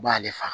I b'ale fa